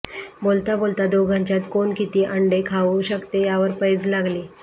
बोलता बोलता दोघांच्यात कोण किती अंडे खाऊ शकते यावर पैज लागली